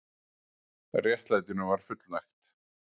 Réttlætinu var fullnægt